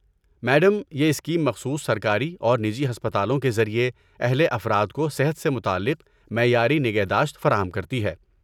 Madam, یہ scheme مخصوص سرکاری اور نجی ہسپتالوں کے ذریعے اہل افراد کو صحت سے متعلق معیاری نگہداشت فراہم کرتی ہے۔